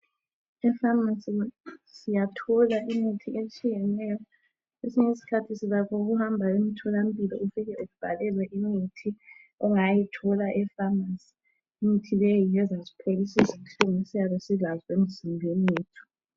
Efamasi siyathola imithi etshiyeneyo esinye isikhathi silakho ukuhamba emtholampilo ufike sibhalelwe imithi ongayithola efamasi imithi leyi ngezasipholisisa inhlungu esiyabe silazi emzimbeni yethu